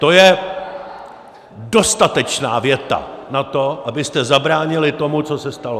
To je dostatečná věta na to, abyste zabránili tomu, co se stalo.